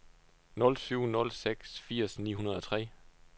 nul syv nul seks firs ni hundrede og tre